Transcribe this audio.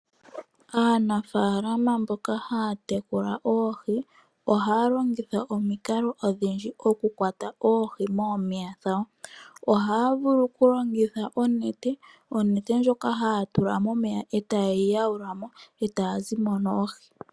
Aanafaalama mboka haya tekula oohi , ohaya longitha omikalo odhindji okukwata oohi moomeya dhawo . Ohaya vulu okulongitha onete , onete ndjoka haya tula momeya, etaye yi yaulamo etaya zimo noohi.